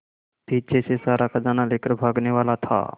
पीछे से सारा खजाना लेकर भागने वाला था